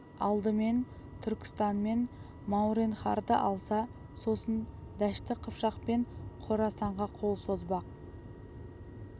алдымен түркістан мен мауреннахрды алса сосын дәшті қыпшақ пен қорасанға қол созбақ